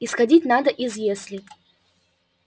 исходить надо из если